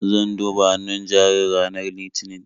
Zan duba hannun jarin ranar Litinin.